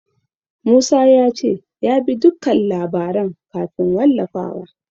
Musa ya ce ya bi dukkan labaran kafin wallafawa.